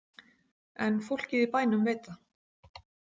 En fólkið í bænum veit það.